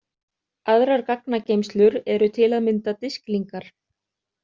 Aðrar gagnageymslur eru til að mynda disklingar.